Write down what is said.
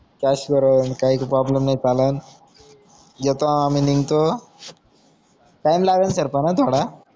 cash वर काई problem नाय चालणं येतो आमी निंगतो टाइम लागेल सर पण हा थोडा